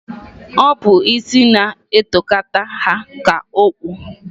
Ọ bụ isi na-etokata ha ka okpu.